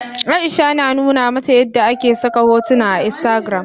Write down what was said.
Aisha na nuna mata yadda ake saka hotuna a instagram.